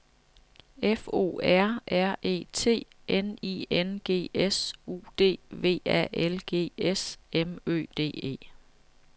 F O R R E T N I N G S U D V A L G S M Ø D E